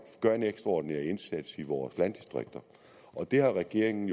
gør en ekstraordinær indsats i vores landdistrikter det har regeringen